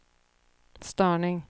störning